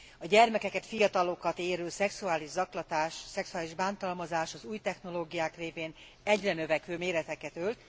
A gyermekeket, fiatalokat érő szexuális zaklatás, szexuális bántalmazás az új technológiák révén egyre növekvő méreteket ölt.